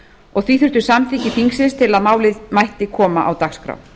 og því þurfti samþykki þingsins til að málið mætti koma á dagskrá